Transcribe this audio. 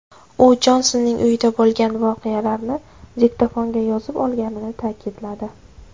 U Jonsonning uyida bo‘lgan voqealarni diktofonga yozib olganini ta’kidladi.